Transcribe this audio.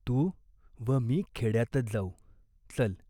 तू व मी खेड्यातच जाऊ, चल.